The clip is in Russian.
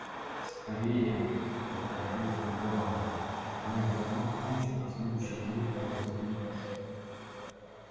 скорее заторопился донован они вот-вот кончат а следующий взрыв может задеть нас